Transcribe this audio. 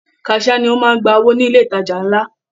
Kaṣia ni o máa ń gba owó ní ilé ìtajà ńlá.